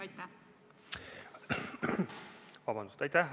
Aitäh!